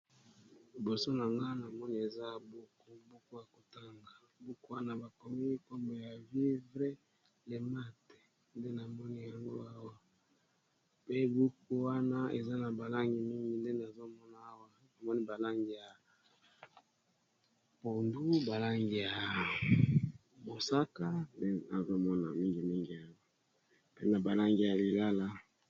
Liboso nanga na moni eza buku ya kotanga buku wana bakomi nkombo ya vivre lemate nde na moni yango awa mpe buku wana eza na balangi mingi nde nazomona awa namoni balangi ya pondu, balangi ya mosaka nde nazomona mingi mingi awa mpe na balangi ya lilala.